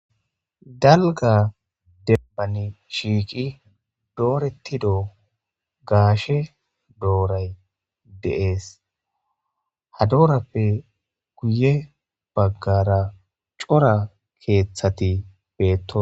Dalga dembani shiiqi doorettido gaashe dooray deees ha doorappe guye baggara cora keeththati beetto.